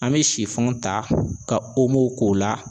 An bɛ ta ka k'o la.